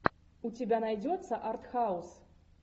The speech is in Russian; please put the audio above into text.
у тебя найдется артхаус